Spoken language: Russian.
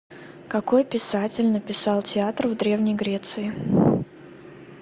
какой писатель написал театр в древней греции